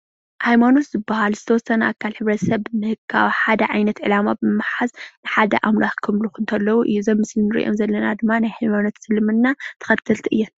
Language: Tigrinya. ሃይነማኖት ዝባሃላል ዝተወሰነ ኣካል ሕብረተሰብ ካብ ሓደ ዕላማ ብምሓዝ ሓደ ኣምላክ ከምልኩ ከለዉ እዩ፡፡ እዚ ኣብ ምስሊ እንሪኦ ዘለና ድማ ናይ እምነት እስልምና ተከተልቲ እየ፡፡